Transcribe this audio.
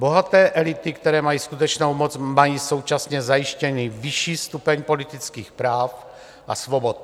Bohaté elity, které mají skutečnou moc, mají současně zajištěný vyšší stupeň politických práv a svobod.